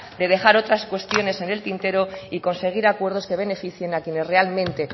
de dejar otras cuestiones en el tintero y conseguir acuerdos que beneficien a quienes realmente